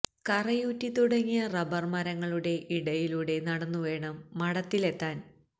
കറയൂറ്റി തുടങ്ങിയ റബ്ബര് മരങ്ങളുടെ ഇടയിലൂടെ നടന്നു വേണം മഠത്തിലെത്താന്